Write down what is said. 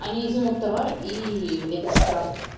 они изымут товар и влепят штраф